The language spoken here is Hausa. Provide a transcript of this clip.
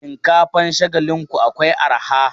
Shinkafan Shagalinku akwai arha.